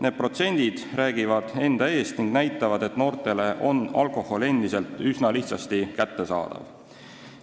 Need protsendid räägivad enda eest ning näitavad, et noortele on alkohol endiselt üsna lihtsasti kättesaadav.